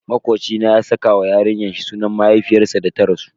Makoci na ya saka wa yarinyar shi sunan mahaifiyarsa da ta rasu.